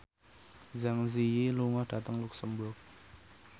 Zang Zi Yi lunga dhateng luxemburg